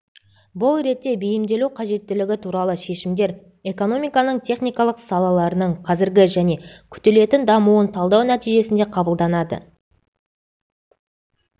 бұл ретте бейімделу қажеттігі туралы шешімдер экономиканың техникалық салаларының қазіргі және күтілетін дамуын талдау нәтижесінде қабылданады